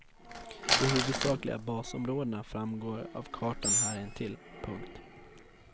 De huvudsakliga basområdena framgår av kartan här intill. punkt